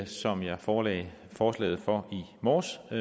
som jeg forelagde forslaget for i morges og